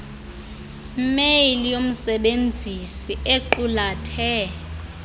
mail yomsebenzisi equlathe